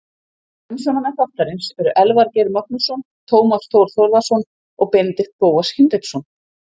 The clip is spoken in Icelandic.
Umsjónarmenn þáttarins eru Elvar Geir Magnússon, Tómas Þór Þórðarson og Benedikt Bóas Hinriksson.